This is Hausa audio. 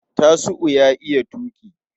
Tasiu ya iya tuƙi.